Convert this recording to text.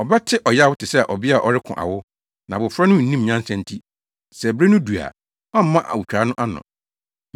Ɔbɛte ɔyaw te sɛ ɔbea a ɔreko awo, na abofra no nnim nyansa nti; sɛ bere no du a, ɔmma awotwaa no ano.